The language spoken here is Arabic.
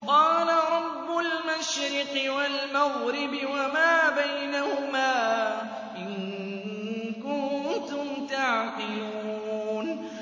قَالَ رَبُّ الْمَشْرِقِ وَالْمَغْرِبِ وَمَا بَيْنَهُمَا ۖ إِن كُنتُمْ تَعْقِلُونَ